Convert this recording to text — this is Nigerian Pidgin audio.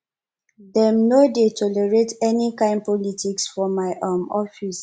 dem no dey tolerate any kain politics for my um office